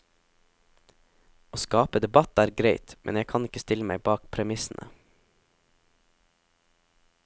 Å skape debatt er greit, men jeg kan ikke stille meg bak premissene.